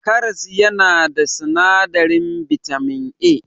Karas yana da sinadarin bitamin A.